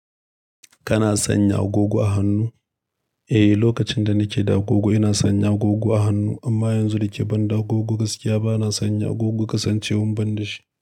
Kana sanya agogo a hannu? Eh, lokacin da nake da agogo ina sanya agogo a hannu amma yanzu da ke ban da agogo gaskiya bana sanya agogo kasancewan ban da shi.